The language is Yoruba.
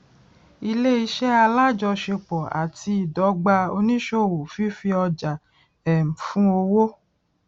ilé iṣẹ alájọṣepọ àti ìdọgba oníṣòwò fífi ọjà um fún owó